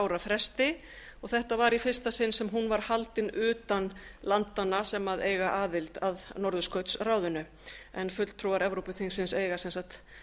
ára fresti og þetta var í fyrsta sinn sem hún var haldin utan landanna sem eiga aðild að norðurskautsráðinu en fulltrúar evrópuþingsins eiga sem sagt